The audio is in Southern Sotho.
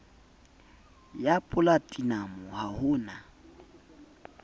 ya polatinamo ha ho na